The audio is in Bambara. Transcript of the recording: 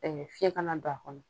fiɲɛ kana don a kɔnɔ.